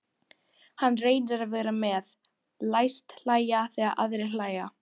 Hann reynir að vera með, læst hlæja þegar aðrir hlæja.